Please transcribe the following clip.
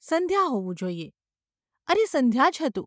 સંધ્યા હોવું જોઈએ. અરે, સંધ્યા જ હતું.